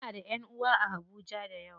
Muna da ƴanʼuwa a habuja dayawa.